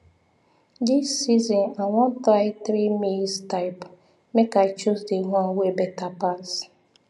this season i wan try three maize type make i choose the one wey better pass